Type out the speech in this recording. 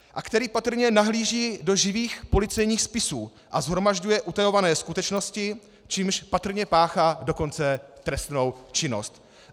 a který patrně nahlíží do živých policejních spisů a shromažďuje utajované skutečnosti, čímž patrně páchá dokonce trestnou činnost.